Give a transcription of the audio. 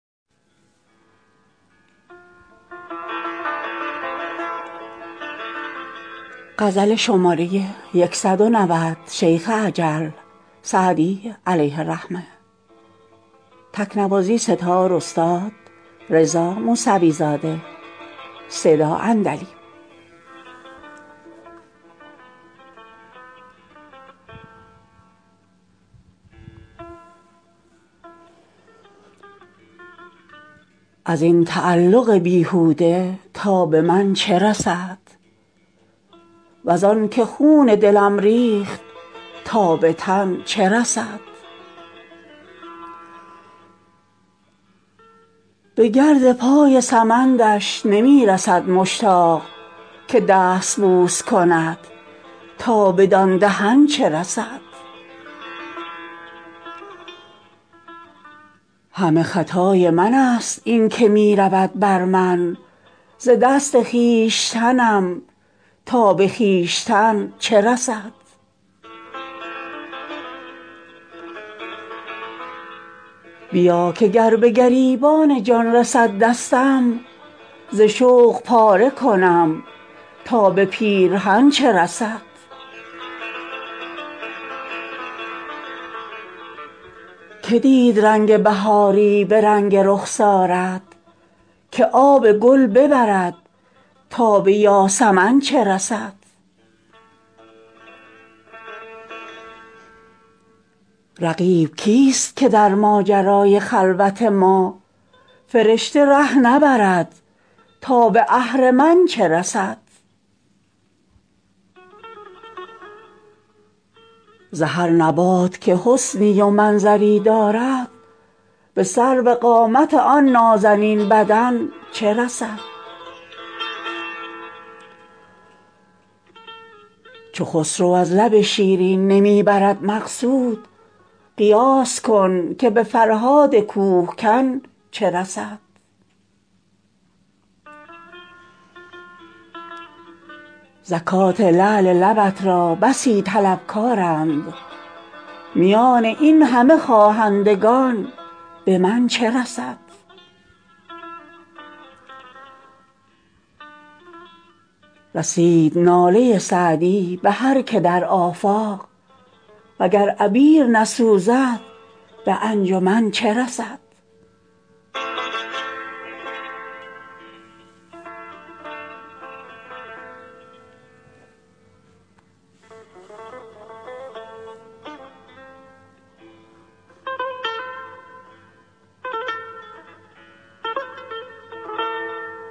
از این تعلق بیهوده تا به من چه رسد وز آن که خون دلم ریخت تا به تن چه رسد به گرد پای سمندش نمی رسد مشتاق که دست بوس کند تا بدان دهن چه رسد همه خطای من ست این که می رود بر من ز دست خویشتنم تا به خویشتن چه رسد بیا که گر به گریبان جان رسد دستم ز شوق پاره کنم تا به پیرهن چه رسد که دید رنگ بهاری به رنگ رخسارت که آب گل ببرد تا به یاسمن چه رسد رقیب کیست که در ماجرای خلوت ما فرشته ره نبرد تا به اهرمن چه رسد ز هر نبات که حسنی و منظری دارد به سروقامت آن نازنین بدن چه رسد چو خسرو از لب شیرین نمی برد مقصود قیاس کن که به فرهاد کوه کن چه رسد زکات لعل لبت را بسی طلبکارند میان این همه خواهندگان به من چه رسد رسید ناله سعدی به هر که در آفاق و گر عبیر نسوزد به انجمن چه رسد